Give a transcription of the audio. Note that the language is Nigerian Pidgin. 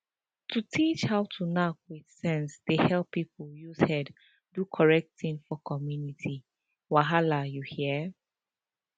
to teach how to knack with sense dey help people use head do correct thing for community wahala you hear